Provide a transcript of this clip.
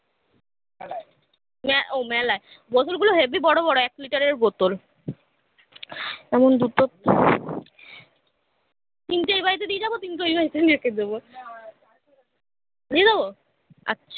ও মেলায় বোতল গুলো হেব্বি বড়ো বড়ো এক লিটারের বোতল এবং দুটো তিনটে এই বাড়িতে দিয়ে যাবো তিনটে ওই বাড়িতে নিয়ে রেখে দেবো নিয়ে যাবো আছ